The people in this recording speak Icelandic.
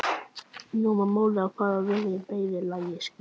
Nú var málið farið að verða í meira lagi skrýtið.